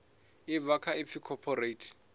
ḽi bva kha ipfi cooperate